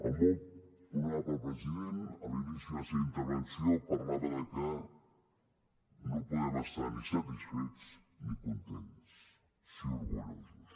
el molt honorable president a l’inici de la seva intervenció parlava de que no podem estar ni satisfets ni contents sí orgullosos